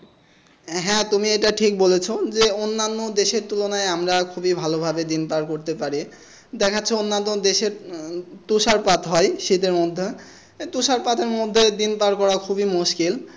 হ্যাঁ তুমি এটা ঠিক বলেছ যে অন্যান্য দেশের তুলনায় আমরা খুব ভালোভাবে দিন পার করতে পারি দেখাচ্ছে অন্যান্য দেশের উম তুষারপাত হয় শীতের মধ্যে তুষারপাত মধ্যে দিন পার করার খুবই মুশকিল।